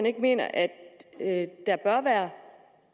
ikke mener at at der bør være